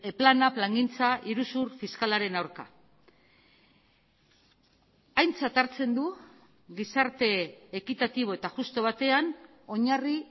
plana plangintza iruzur fiskalaren aurka aintzat hartzen du gizarte ekitatibo eta justu batean oinarri